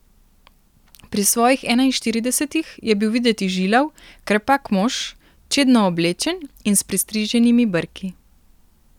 Pri svojih enainštiridesetih je bil videti žilav, krepak mož, čedno oblečen in s pristriženimi brki.